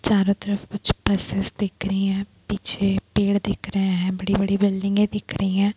चारो तरफ कुछ बसेस दिख रही हैं पीछे पेड़ दिख रहे है बड़ी बड़ी बिल्डिंगे दिख रही है।